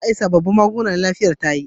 Za a yi sabobbin magunguna na lafiyar tayi